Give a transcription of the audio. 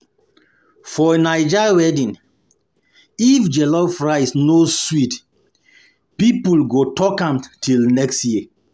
For Naija wedding, if jollof rice no sweet, people go talk am till next year.